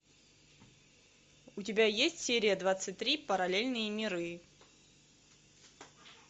у тебя есть серия двадцать три параллельные миры